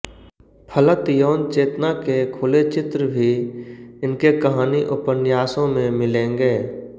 फलत यौनचेतना के खुले चित्र भी इनके कहानी उपन्यासों में मिलेंगे